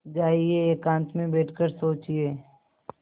जाइए एकांत में बैठ कर सोचिए